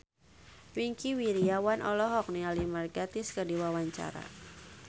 Wingky Wiryawan olohok ningali Mark Gatiss keur diwawancara